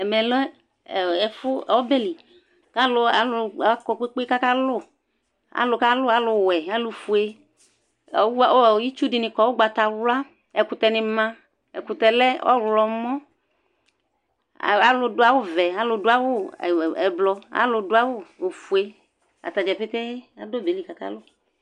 Ɛmɛ lɛ ɛfu ɔbɛli kalu kɔ kpékpé ka ka lu alu ka lu alu wɛ alu foé itsu dini kɔ ugbata wlă ɛkutɛ ni ma ɛkutɛ lɛ ɔwlɔ mɔ alu du awu vɛ alu du awu ɛblɔ alu du awu ofoé atadza kéké du ɔbɛ li ka ka lu